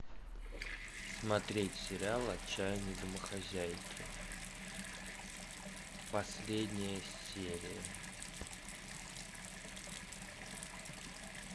смотреть сериал отчаянные домохозяйки последняя серия